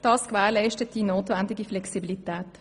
Das gewährleistet die notwendige Flexibilität.